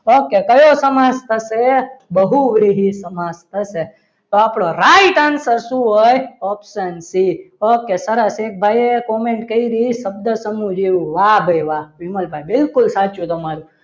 okay કયો સમાસ થશે બહુ વિહીન સમાજ થશે તો આપણો right answer શું હોય option સી okay સરસ એક ભાઈએ comment કરી શબ્દ સમૂહ જેવું વાહ ભાઈ વાહ વિમલભાઈ બિલકુલ સાચું તમારો